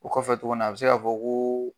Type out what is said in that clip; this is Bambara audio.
O kɔfɛ tuguni a bi se ka fɔ ko.